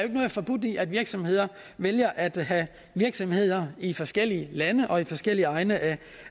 ikke noget forbudt i at virksomheder vælger at have virksomheder i forskellige lande og i forskellige egne